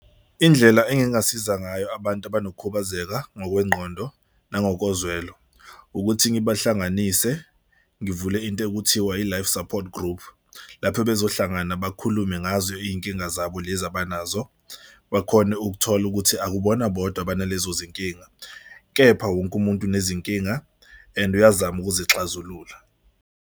Indlela engingasiza ngayo abantu abanokukhubazeka ngokwengqondo nangokozwelo ukuthi ngibahlanganise ngivule into ekuthiwa i-life support group. Lapho bezohlangana bakhulume ngazo iy'nkinga zabo lezi abanazo bakhone ukuthola ukuthi akubona bodwa banalezo zinkinga, kepha wonke umuntu unezinkinga and uyazama ukuzixazulula.